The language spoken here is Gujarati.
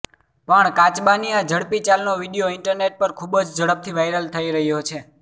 પણ કાચબાની આ ઝડપી ચાલનો વીડિયો ઈન્ટરનેટ પર ખૂબ જ ઝડપથી વાયરલ થઈ રહ્યો છે